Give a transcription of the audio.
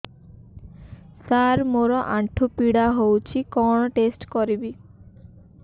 ସାର ମୋର ଆଣ୍ଠୁ ପୀଡା ହଉଚି କଣ ଟେଷ୍ଟ କରିବି